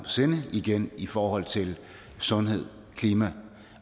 sinde igen i forhold til sundhed klima